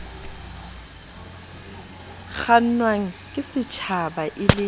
kgannwang ke stjhaba e le